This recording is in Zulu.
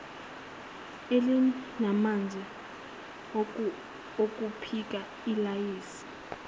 elalinamanzi okupheka ilayisi